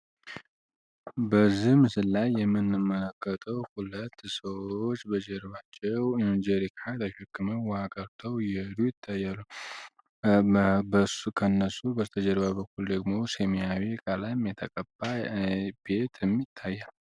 በዚህ ምስል ላይ የምንመለከተው ሁለት ሰዎች በጀርባቸው ጄሪካ ተሸክመው ዉሃ ቀድተው እየሄዱ ይታያሉ። ከነሱ በስተጀርባ ደግሞ ሰማያዊ ቀለም የተቀባ ቤትም ይታያል።